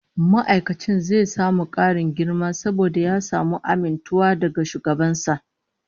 Ma'aikacin zai samu karin girma saboda ya samu amintuwa daga shugaban sa